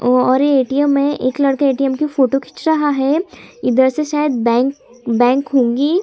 वो और ऐ.टी.एम है। एक लड़का ऐ.टी.एम की फोटो खींच रहा है। इधर से शायद बैंक बैंक होगी।